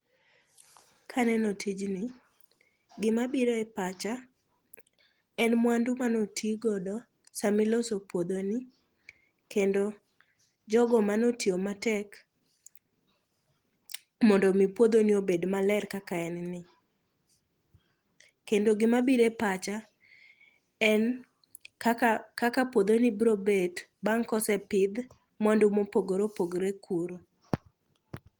Kaneno tijni gimabiro e pacha en mwandu manotigodo samiloso puodhoni kendo jogo manotiyo matek mondo omi puodhoni obed maler kaka en ni, kendo gimabiro e pacha en kaka puodhoni brobet bang' kosepidh mwandu mopogore opogore kuno.